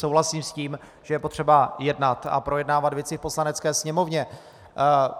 Souhlasím s tím, že je potřeba jednat a projednávat věci v Poslanecké sněmovně.